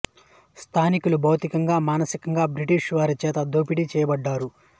స్థానికులు భౌతికంగా మానసికంగా బ్రిటీషు వారి చేత దోపిడీ చేయబడ్డారు